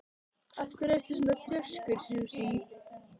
Af hverju ertu svona þrjóskur, Susie?